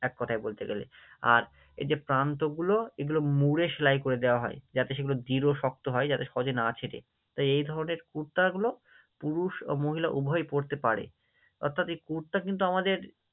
এক কথায় বলতে গেলে, আর এই যে প্রান্তগুলো এগুলো মুড়ে সেলাই করে দেওয়া হয়, যাতে সেগুলো দৃঢ় শক্ত হয়, যাতে সহজে না ছেঁড়ে, তাই এই ধরণের কুর্তাগুলো পুরুষ এবং মহিলা উভয়ই পড়তে পারে, অর্থাৎ এই কুর্তা কিন্তু আমাদের